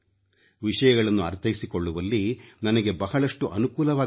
ವಿಷಯಗಳನ್ನು ಅರ್ಥೈಸಿಕೊಳ್ಳುವಲ್ಲಿ ನನಗೆ ಬಹಳಷ್ಟು ಅನುಕೂಲವಾಗುತ್ತದೆ